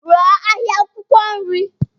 Rụọ ahịa akwụkwọ nri.